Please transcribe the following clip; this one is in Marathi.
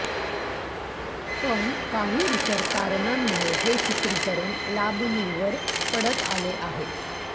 पण काही इतर कारणांमुळे हे चित्रीकरण लाबणीवर पडत आले आहे